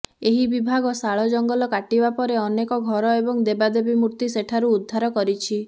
ଏହି ବିଭାଗ ଶାଳ ଜଙ୍ଗଲ କାଟିବା ପରେ ଅନେକ ଘର ଏବଂ ଦେବାଦେବୀ ମୂର୍ତ୍ତି ସେଠାରୁ ଉଦ୍ଧାର କରିଛି